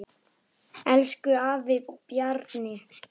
Elsku afi Bjarni.